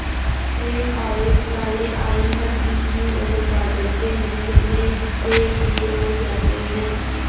ॠण आवेश वाले आयन धरती की ओर बादल के निचले हिस्से की ओर जाते हैं